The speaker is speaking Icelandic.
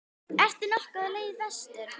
Ertu nokkuð á leið vestur?